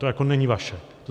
To jako není vaše.